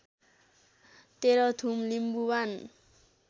Terhathum Limbuwan